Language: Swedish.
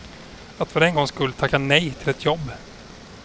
Att för en gång skull tacka nej till ett jobb.